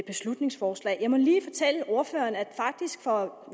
beslutningsforslag jeg må lige fortælle ordføreren at